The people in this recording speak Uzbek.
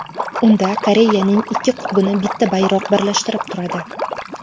Unda Koreyaning ikki qutbini bitta bayroq birlashtirib turadi.